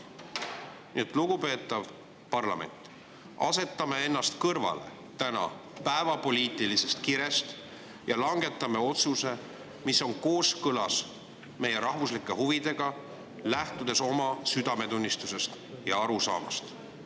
Nii et, lugupeetav parlament, asetame ennast täna kõrvale päevapoliitilisest kirest ja langetame otsuse, mis on kooskõlas meie rahvuslike huvidega, lähtudes oma südametunnistusest ja arusaamadest.